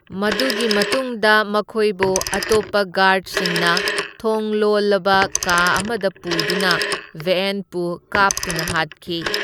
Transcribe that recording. ꯃꯗꯨꯒꯤ ꯃꯇꯨꯡꯗ ꯃꯈꯣꯢꯕꯨ ꯑꯇꯣꯞꯄ ꯒꯥꯔꯗꯁꯤꯡꯅ ꯊꯣꯡ ꯂꯣꯜꯂꯕ ꯀꯥ ꯑꯃꯗ ꯄꯨꯗꯨꯅ ꯕꯦꯑꯦꯟꯠꯄꯨ ꯀꯥꯞꯇꯨꯅ ꯍꯥꯠꯈꯤ꯫